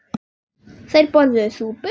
Þeir borðuðu súpu.